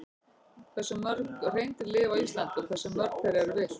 Hversu mörg hreindýr lifa á Íslandi og hversu mörg þeirra eru villt?